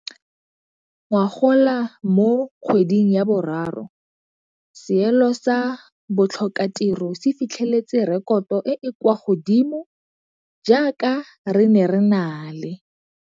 Ngogola mo kgweding ya boraro seelo sa botlhokatiro se fitlheletse rekoto e e kwa godimodimo jaaka re ne re na le.